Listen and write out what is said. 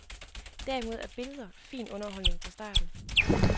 Derimod er billeder fin underholdning fra starten.